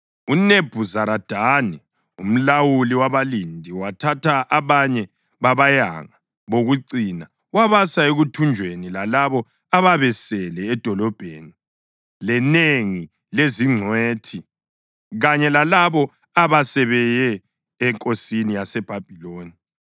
UNebhuzaradani umlawuli wabalindi wathatha abanye babayanga bokucina wabasa ekuthunjweni lalabo ababesele edolobheni, lenengi lezingcwethi kanye lalabo abasebeye enkosini yaseBhabhiloni.